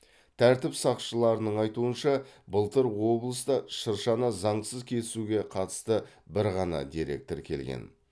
тәртіп сақшыларының айтуынша былтыр облыста шыршаны заңсыз кесуге қатысты бір ғана дерек тіркелген